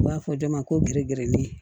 U b'a fɔ dɔ ma ko gedede